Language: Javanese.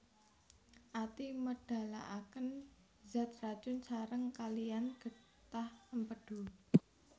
Ati médhalakén zat racun saréng kaliyan gétah Émpédu